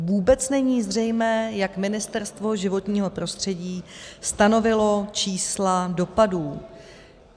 Vůbec není zřejmé, jak Ministerstvo životního prostředí stanovilo čísla dopadů.